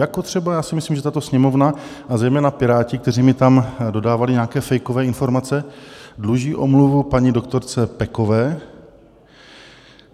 Jako třeba - já si myslím, že tato Sněmovna a zejména Piráti, kteří mi tam dodávali nějaké fejkové informace - dluží omluvu paní doktorce Pekové.